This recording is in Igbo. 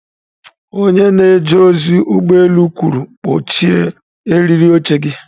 Onye na-eje ozi ụgbọ elu kwuru, "kpọchie eriri oche gị".